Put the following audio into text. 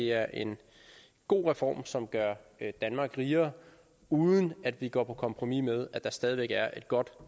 er en god reform som gør danmark rigere uden at vi går på kompromis med at der stadig væk er et godt